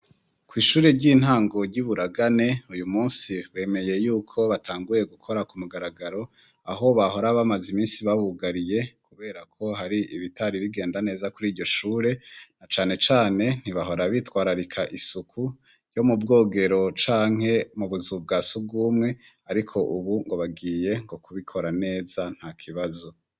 Kwishure ry'intango ryi Buragane uyu munsi bemeye yuko batanguye gukora ku mugaragaro aho bahora bamaze iminsi babugariye kubera ko hari ibitari bigenda neza kuriryo shure na cane cane ntibahora bitwararika isuku yo mu bwogero canke mu buzu bwa sugumwe ariko ubu ngo bagiye ngo kubikora neza nta kibazo.